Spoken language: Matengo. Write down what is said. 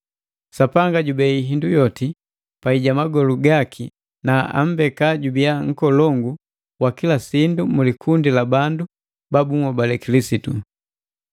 Sapanga jubei hindu yoti pai ja magolu gaki na ambeka jubia nkolongu wa kila sindu mu likundi la bandu ba bunhobale Kilisitu.